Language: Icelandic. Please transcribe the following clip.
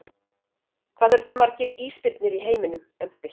Hvað eru til margir ísbirnir í heiminum, um það bil?